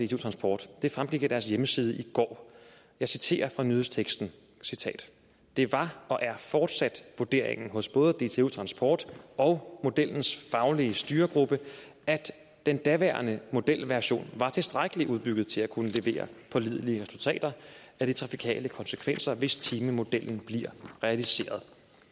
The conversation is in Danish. dtu transport det fremgik af deres hjemmeside i går jeg citerer fra nyhedsteksten det var og er fortsat vurderingen hos både dtu transport og modellens faglige styregruppe at den daværende modelversion var tilstrækkeligt udbygget til at kunne levere pålidelige resultater af de trafikale konsekvenser hvis timemodellen bliver realiseret